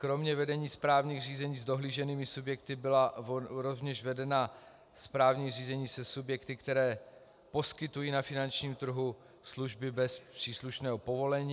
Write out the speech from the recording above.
Kromě vedení správních řízení s dohlíženými subjekty byla rovněž vedena správní řízení se subjekty, které poskytují na finančním trhu služby bez příslušného povolení.